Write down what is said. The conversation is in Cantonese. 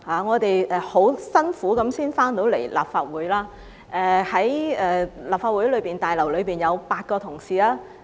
我們當天十分辛苦才回到立法會，在立法會大樓內有8位同事。